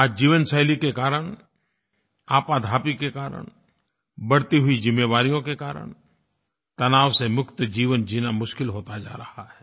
आज जीवनशैली के कारण आपाधापी के कारण बढ़ती हुई ज़िम्मेवारियों के कारण तनाव से मुक्त जीवन जीना मुश्किल होता जा रहा है